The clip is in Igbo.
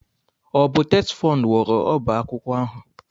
Ọ bụ TETFUND wuru ọbá akwụkwọ ahụ?